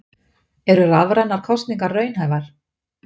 Eru rafrænar kosningar raunhæfar?